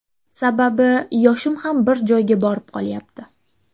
Sababi yoshim ham bir joyga borib qolyapti.